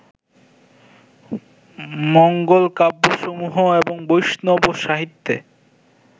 মঙ্গলকাব্যসমূহ এবং বৈষ্ণব সাহিত্যে